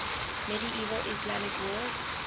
medieval islamic world